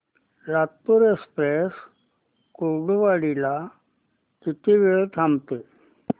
Latur express Kurduwadi ला किती वेळ थांबते